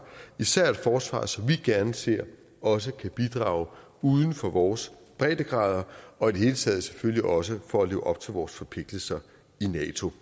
især et forsvar som vi gerne ser også kan bidrage uden for vores breddegrader og i det hele taget selvfølgelig også for at leve op til vores forpligtelser i nato